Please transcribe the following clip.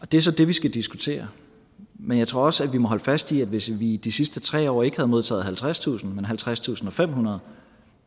det er så det vi skal diskutere men jeg tror også at vi må holde fast i at hvis vi i de sidste tre år ikke havde modtaget halvtredstusind men halvtredstusinde og femhundrede